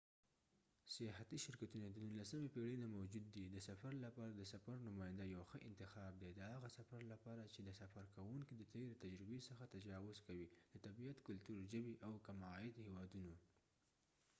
سیاحتی شرکتونه د نورلسمې پیړۍ نه موجود دي د سفر لپاره د سفر نماینده یو ښه انتخاب دي د هغه سفر لپاره چې د سفر کوونکې د تیری تجربی څخه تجاوز کوي د طبیعت کلتور ژبی او د کم عاید هیواودونو